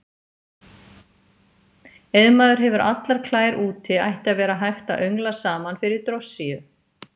Ef maður hefur allar klær úti ætti að vera hægt að öngla saman fyrir drossíu.